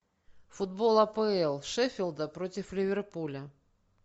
футбол апл шефилда против ливерпуля